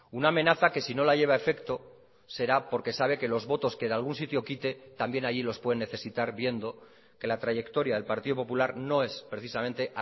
una amenaza que si no la lleva a efecto será porque sabe que los votos que de algún sitio quite también allí los puede necesitar viendo que la trayectoria del partido popular no es precisamente